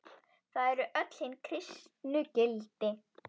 Það eru hin kristnu gildi.